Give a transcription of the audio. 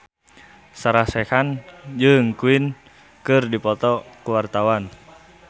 Sarah Sechan jeung Queen keur dipoto ku wartawan